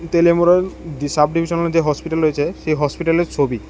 যে sub divisional যে hospital রয়েছে সে হসপিটালের ছবি।